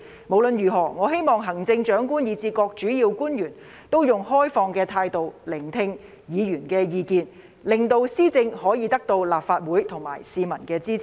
無論如何，我希望行政長官以至各主要官員，以開放態度聆聽議員的意見，令施政可以得到立法會和市民的支持。